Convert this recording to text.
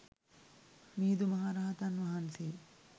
මිහිදු මහ රහතන් වහන්සේ